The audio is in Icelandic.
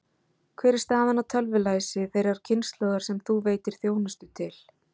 Hver er staðan á tölvulæsi þeirrar kynslóðar sem þú veitir þjónustu til?